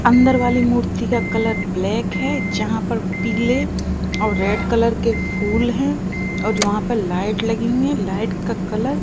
अंदर वाली मूर्ति का कलर ब्लैक है जहां पर पीले और रेड कलर के फूल हैं और वहां पे लाइट लगी है लाइट का कलर --